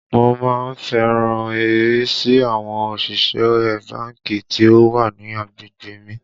Mo má ń fẹ́ràn ìrísí àwọn òṣìṣẹ́ ẹ báńkì tí ó wà ní agbègbè mi